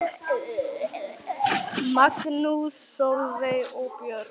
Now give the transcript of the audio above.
Magnús, Sólveig og börn.